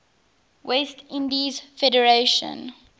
west indies federation